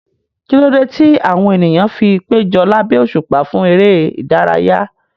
Kí ló dé tí àwọn ènìyàn fi péjọ lábẹ́ òṣùpá fún eré ìdárayá?